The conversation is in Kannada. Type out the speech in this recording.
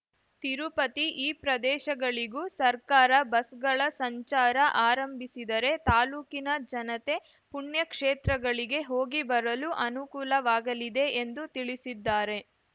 ತಿರುಪತಿ ಈ ಪ್ರದೇಶಗಳಿಗೂ ಸರ್ಕಾರ ಬಸ್‌ಗಳ ಸಂಚಾರ ಆರಂಭಿಸಿದರೆ ತಾಲೂಕಿನ ಜನತೆ ಪುಣ್ಯ ಕ್ಷೇತ್ರಗಳಿಗೆ ಹೋಗಿ ಬರಲು ಅನುಕೂಲವಾಗಲಿದೆ ಎಂದು ತಿಳಿಸಿದ್ದಾರೆ